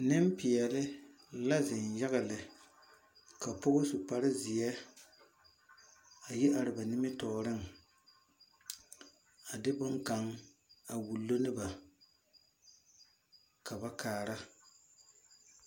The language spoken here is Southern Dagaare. Ninpɛɛle la zeng yaga le ka poɔ su kpare zie a yi arẽ ba nimitooring a de bung kang a wulo ne ba ka ba kaara.